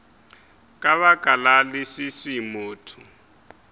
ka baka la leswiswi motho